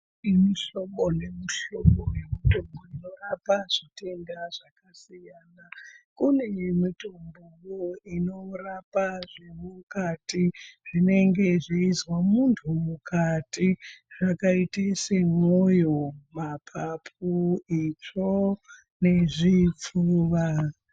Kune mihlobo nemihlobo yemitombo inorapa zvitenda zvakasiyana. Kune mitombo inorapa zvemukati zvinenge zveizwa muntu mukati zvakaita semwoyo, maphaphu, itsvo nezvipfuwa.